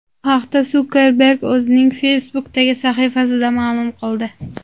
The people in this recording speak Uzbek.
Bu haqda Sukerberg o‘zining Facebook’dagi sahifasida ma’lum qildi.